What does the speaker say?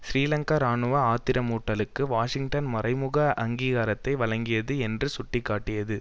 சிறீலங்கா இராணுவ ஆத்திரமூட்டலுக்கு வாஷிங்டன் மறைமுக அங்கீகாரத்தை வழங்கியது என்று சுட்டி காட்டியது